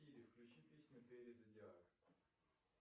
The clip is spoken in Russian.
включи песню тэри зодиак